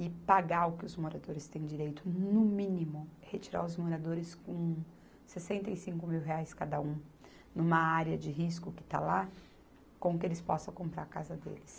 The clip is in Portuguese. e pagar o que os moradores têm direito, no mínimo, retirar os moradores com sessenta e cinco mil reais cada um, numa área de risco que está lá, com o que eles possam comprar a casa deles.